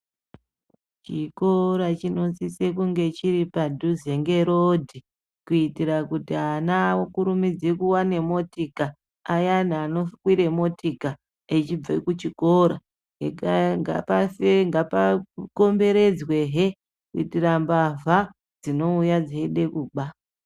Chikora chinosise kunge chiri padhuze ngerodhi kuitire kuti ana akurumidze kuwana motika, ayani anokwire motika echibve kuchikora. Ngapakomberedzwehe kuitira mbavha dzinouya dzeide kuba.